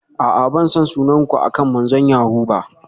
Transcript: A'a, ban san sunan ku akan manzon yahoo ba.